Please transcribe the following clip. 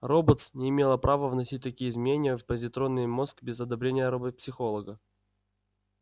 роботс не имела права вносить такие изменения в позитронный мозг без одобрения робопсихолога